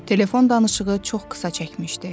Telefon danışığı çox qısa çəkmişdi.